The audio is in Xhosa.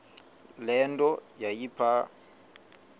le nto yayipha